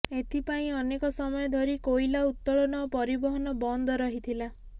ଏଥିପାଇଁ ଅନେକ ସମୟ ଧରି କୋଇଲା ଉତ୍ତୋଳନ ଓ ପରିବହନ ବନ୍ଦ ରହିଥିଲା